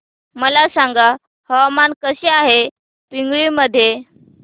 मला सांगा हवामान कसे आहे पिंगुळी मध्ये